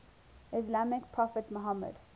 islamic prophet muhammad